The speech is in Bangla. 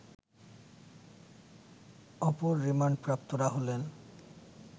অপর রিমান্ডপ্রাপ্তরা হলেন